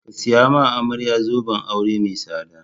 Ka saya ma amarya zoben aure mai tsada!